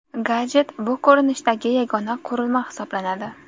Gadjet bu ko‘rinishdagi yagona qurilma hisoblanadi.